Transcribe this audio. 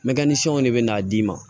Mɛ ni fɛnw de bɛ n'a d'i ma